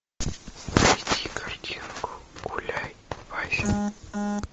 найди картинку гуляй вася